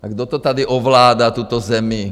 A kdo to tady ovládá, tuto zemi?